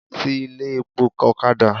Ti ilé epo ọ̀kadà!